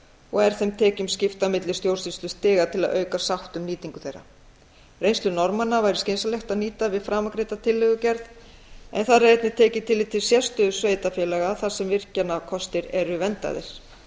og er þeim tekjum skipt á milli stjórnsýslustiga til að auka sátt um nýtingu þeirra reynslu norðmanna væri skynsamlegt að nýta við framangreinda tillögugerð en þar er einnig tekið tillit til sérstöðu sveitarfélaga þar sem virkjanakostir eru verndaðir